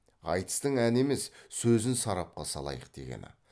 айтыстың әні емес сөзін сарапқа салайық дегені